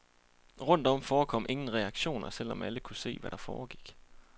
Rundt om forekom ingen reaktioner, selv om alle kunne se, hvad der foregik.